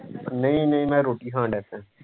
ਨਹੀ ਨਹੀ ਮੈਂ ਰੋਟੀ ਖਾਣ ਲੱਗ ਪਿਆ